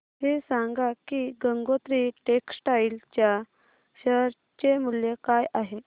हे सांगा की गंगोत्री टेक्स्टाइल च्या शेअर चे मूल्य काय आहे